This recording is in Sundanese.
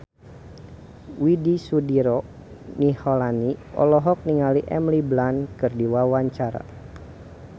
Widy Soediro Nichlany olohok ningali Emily Blunt keur diwawancara